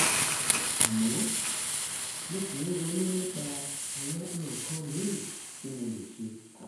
àmọ́ mo ṣì ń ronú nípa àwọn nǹkan míì tí mo lè ṣe